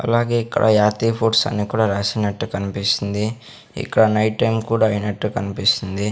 అలాగే ఇక్కడ యాతి ఫుడ్స్ అన్ని కూడా రాసినట్టే కనిపిస్తుంది ఇక్కడ నైట్ టైం కూడా అయినట్టు కనిపిస్తుంది.